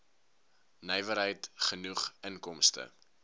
nywerheid genoeg inkomste